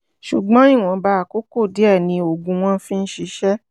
ṣùgbọ́n ìwọ̀nba àkókò díẹ̀ ni oògùn wọn fi ń ṣiṣẹ́